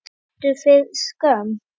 Fannstu fyrir skömm?